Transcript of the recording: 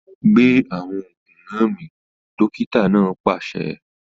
Gbé awọn oògùn náà mì! dókítà náà pàṣẹ